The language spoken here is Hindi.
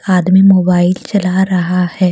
आदमी मोबाइल चला रहा है।